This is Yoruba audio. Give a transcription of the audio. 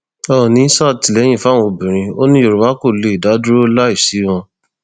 oòní sàtìlẹyìn fáwọn obìnrin ò ní yorùbá kó lè dá dúró láì sí wọn